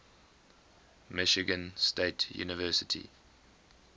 michigan state university